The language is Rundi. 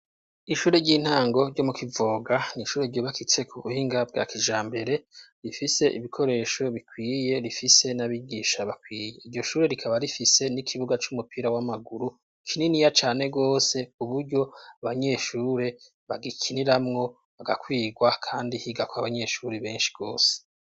Ishure ry'intango ryo mu Kivoga nishure ryubakitse ku buhinga bwa kijambere rifise ibikoresho bikwiye rifise n'abigisha bakwiye, iryo shure rikaba rifise n'ikibuga c'umupira w'amaguru kininiya cane gose kuburyo abanyeshure bagikiniramwo bagakwigwa kandi higako abanyeshuri benshi gose.